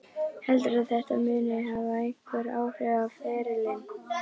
Heldurðu að þetta muni hafa einhver áhrif á ferilinn?